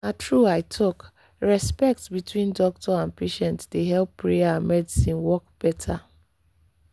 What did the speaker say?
na true i talk—respect between doctor and patient dey help prayer and medicine work better.